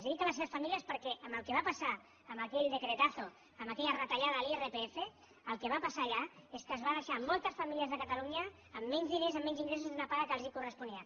i dic a les seves famílies perquè amb el que va passar amb aquell decretazode l’irpf el que va passar allà és que es van deixar moltes famílies de catalunya amb menys diners amb menys ingressos d’una paga que els corresponia